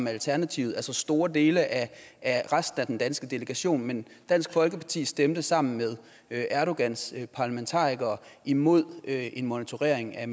alternativet altså store dele af resten af den danske delegation men dansk folkeparti stemte sammen med erdogans parlamentarikere imod en monitorering af